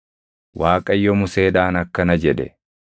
Waaqayyo Museedhaan akkana jedhe: